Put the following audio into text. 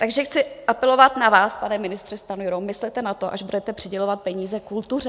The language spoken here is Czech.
Takže chci apelovat na vás, pane ministře Stanjuro, myslete na to, až budete přidělovat peníze kultuře.